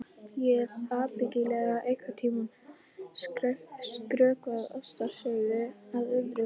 Ég hef ábyggilega einhvern tíma skrökvað ástarsögu að öðrum.